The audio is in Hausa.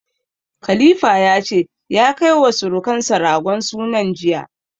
Khalifa ya ce ya kai wa sirukansa ragon sunan jiya.